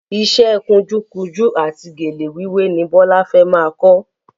Iṣẹ́ kunjú kunjú àti gèlè wíwé ni Bọ́lá fẹ́ máa kọ́